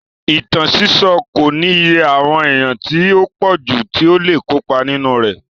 Ìtàn sísọ́ kò ní iye àwọn èèyàn tí ó pọ̀jù tí ó le kópa nínú rẹ̀.